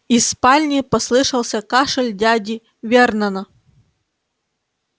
из спальни послышался кашель дяди вернона